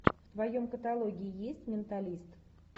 в твоем каталоге есть менталист